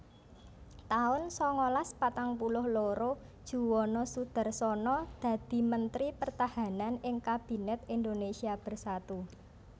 taun sangalas patang puluh loro Juwono Sudarsono dadi Mentri Pertahanan ing Kabinet Indonésia Bersatu